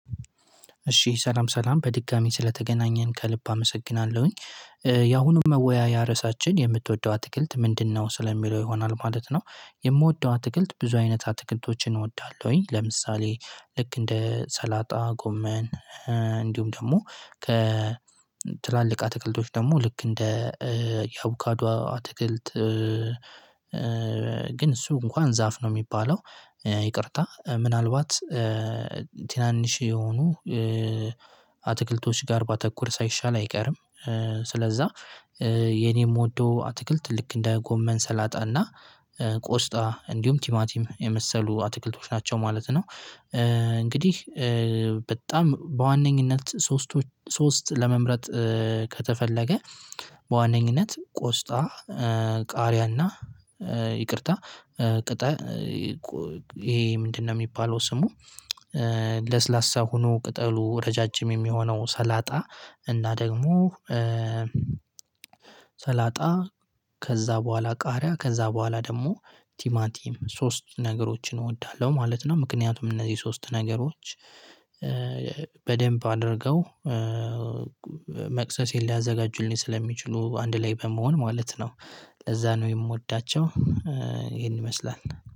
እሺ ሰላም ሰላም በድጋሚ ስለተገናኘን ከልብ አመሰግናለሁኝ። ያሁኑን መወያያ ርዕሳችን የምትወደው አትክልት ምንድነው? ስለሚለው ይሆናል ማለት ነው። የምወደው አትክልት ብዙ አይነት አትክልቶችን እወዳለሁኝ። ለምሳሌ ልክ እንደ ሰላጣ ጎመን። እንዲሁም ደግሞ ከ ትላልቅ አትክልቶች ደግሞ ልክ እንደ የአቦካዶ አትክልት። ግን እሱ እንኳን ዛፍ ነው የሚባለው። ይቅርታ ምናልባት ትናንሽ የሆኑ አትክልቶች ጋር ባተኩር ሳይሻል አይቀርም። ስለዛ የኔ የምወደው አትክልት ልክ እንደ ጎመን ሰላጣና ቆስጣ እንዲሁም ቲማቲም የመሰሉ አትክልቶች ናቸው ማለት ነው። እንግዲህ በጣም በዋነኝነት ሶስቶች ሶስት ለመምረጥ። ከተፈለገ በዋነኝነት ቆስጣ ቃሪያና ይቅርታ ቅጠል ይሄ ምንድነው? የሚባለው ስሙ ለስላሳ ሆኖ ቅጠሉ ረዣዥም የሚሆነው ሰላጣ። እና ደግሞ ሰላጣ ከዛ በኋላ ቃሪያ ከዛ በኋላ ደግሞ ቲማቲም ሶስት ነገሮችን እወዳለሁ ማለት ነው። ምክንያቱም እነዚህ ሶስት ነገሮች በደንብ አድርገው መቅሰሴን ሊያዘጋጁልኝ ስለሚችሉ አንድ ላይ በመሆን ማለት ነው። ለዛ ነው የምወዳቸው። ይሄን ይመስላል።